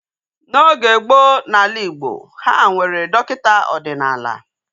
N'oge gboo n'ala Igbo, ha nwere dọkịta ọdịnala